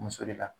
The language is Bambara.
Muso de la